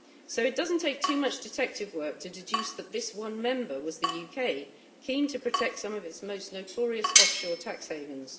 So it does not take too much detective work to deduce that this one member was the UK, keen to protect some of its most notorious offshore tax havens.